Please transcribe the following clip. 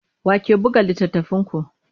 Wa ke buga littattafanku?